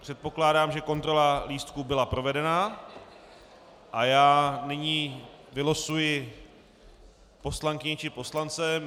Předpokládám, že kontrola lístků byla provedena, a já nyní vylosuji poslankyni či poslance.